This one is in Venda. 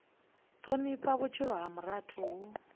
thonifha vhutshilo ha muthu hu